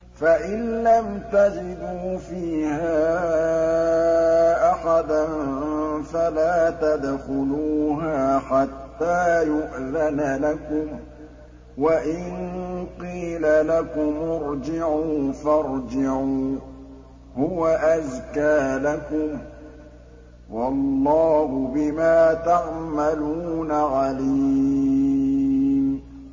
فَإِن لَّمْ تَجِدُوا فِيهَا أَحَدًا فَلَا تَدْخُلُوهَا حَتَّىٰ يُؤْذَنَ لَكُمْ ۖ وَإِن قِيلَ لَكُمُ ارْجِعُوا فَارْجِعُوا ۖ هُوَ أَزْكَىٰ لَكُمْ ۚ وَاللَّهُ بِمَا تَعْمَلُونَ عَلِيمٌ